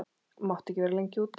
mátt ekki vera lengi úti.